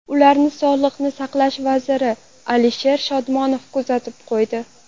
Ularni sog‘liqni saqlash vaziri Alisher Shodmonov kuzatib qo‘ydi.